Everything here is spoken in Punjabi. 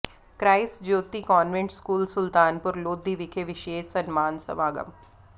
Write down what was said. Christ Jyoti convent school Sultanpur Lodhi ਵਿਖੇ ਵਿਸ਼ੇਸ਼ ਸਨਮਾਨ ਸਮਾਗਮ